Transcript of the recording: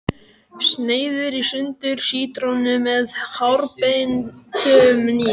Sneiðir í sundur sítrónu með hárbeittum hníf.